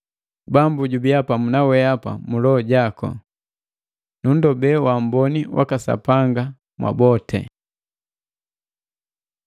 Bambu jubiya pamu na wehapa mu loho jaku. Nunndobe uamboni waka Sapanga mwabote.